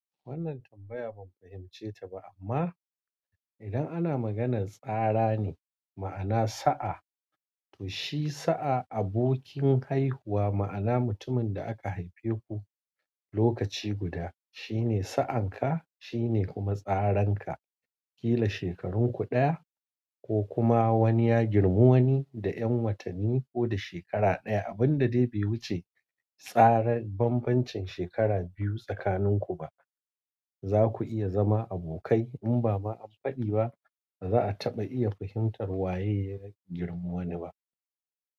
Wannan tambaya ban fahimce ta ba, amma idan ana maganar tsara ne, ma'ana sa'a, to shi sa'a abokin haihuwa, ma'ana mutumin da aka haife ku lokaci guda. Shine sa'anka, shine tsaranka. Kila shekarunku ɗaya ko kuma wani ya girmu wani da 'yan watanni ko da shekara ɗaya. Abin da dai bai wuce tsarin bambancin shekara biyu tsakanin ku ba. Za ku iya zama abokai, in ba ma an faɗi ba, za a taɓa iya fahimtar waye ya girmu wane ba.